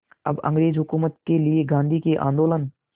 अब अंग्रेज़ हुकूमत के लिए गांधी के आंदोलन